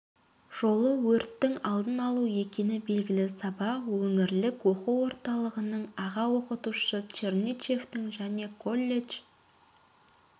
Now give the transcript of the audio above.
жолы өрттің алдын алу екені белгілі сабақ өңірлік оқу орталығының аға оқытушысы чернышевтың және колледж